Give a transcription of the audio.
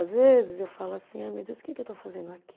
Às vezes eu falo assim, ai meu Deus, que que eu estou fazendo aqui?